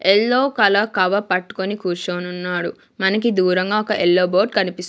Yellow colour cover పట్టుకుని కూర్చోనున్నాడు మనకి దూరంగా ఒక ఎల్లో బోర్డ్ కనిపిస్.